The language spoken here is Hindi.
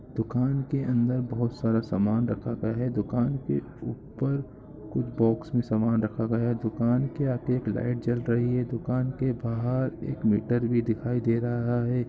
दुकान के अंदर खूब सारा समान रखा गया है दुकान के ऊपर बॉक्स मे समान रखा गया है दुकान के अंदर एक लाइट जल रही है दुकान के बाहर एक मीटर भी लगा हुआ रहा है।